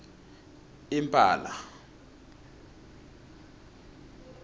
impala